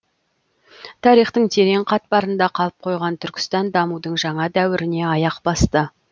тарихтың терең қатпарында қалып қойған түркістан дамудың жаңа дәуіріне аяқ басты